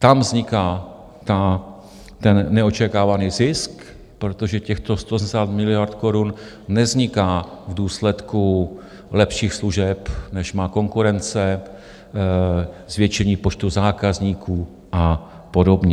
Tam vzniká ten neočekávaný zisk, protože těch 180 miliard korun nevzniká v důsledku lepších služeb, než má konkurence, zvětšení počtu zákazníků a podobně.